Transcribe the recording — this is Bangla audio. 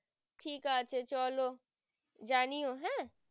ঠিক আছে চলো জানিয়ো হ্যাঁ